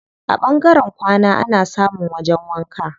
A ɓangaren kwana ana samun wajen wanka.